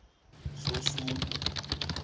sosudu